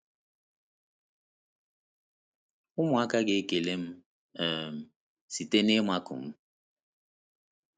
Ụmụaka ga-ekele m um site n’ịmakụ m.